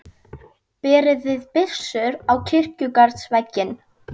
Berið þið byssur út á kirkjugarðsvegginn.